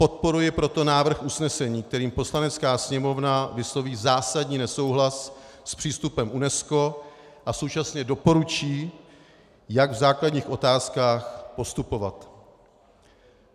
Podporuji proto návrh usnesení, kterým Poslanecká sněmovna vysloví zásadní nesouhlas s přístupem UNESCO a současně doporučí, jak v základních otázkách postupovat.